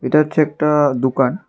এটা হচ্ছে একটা দুকান ।